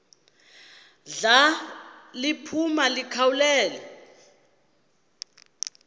ndla liphuma likhawulele